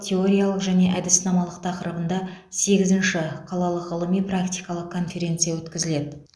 теориялық және әдіснамалық тақырыбында сегізінші қалалық ғылыми практикалық конференция өткізіледі